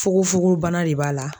Fugofugobana de b'a la.